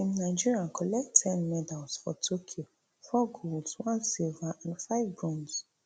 team nigeria collect ten medals for tokyo four golds one silver and five bronze